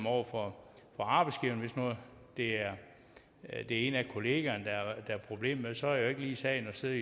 over for arbejdsgiveren hvis nu det er en af kollegerne der er problemet så er det jo ikke lige sagen at sidde